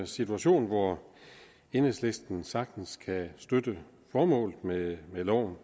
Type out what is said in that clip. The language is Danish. situation hvor enhedslisten sagtens kan støtte formålet med loven